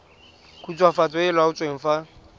khutswafatso e e laotsweng fa